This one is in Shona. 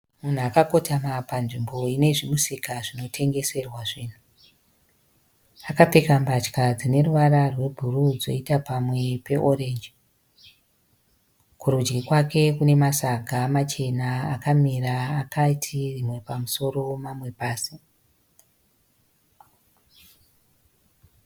Munhu akakotatama panzvimbo inezvimusika zvinotengeserwa zvinhu. Akapfeka mbatya dzine ruvara rwe bhuruu dzoita pamwe pe orange. Kurudyi kwake Kune masaga machena akamira akati rimwe pamusoro mamwe pasí.